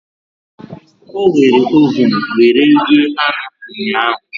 O were ovun were rie anụ ụnyahu